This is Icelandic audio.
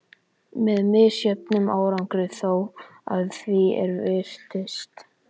Með misjöfnum árangri þó, að því er virtist.